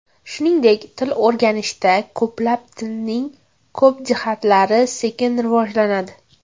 Shuningdek, til o‘rganishda ko‘plab tilning ko‘p jihatlari sekin rivojlanadi.